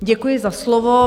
Děkuji za slovo.